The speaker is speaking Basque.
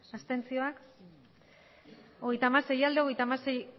abstentzioa hogeita hamasei bai hogeita hamasei